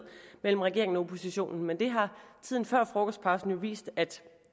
mellem regeringen og oppositionen men det har tiden før frokostpausen jo faktisk vist at